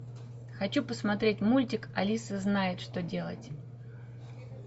хочу посмотреть мультик алиса знает что делать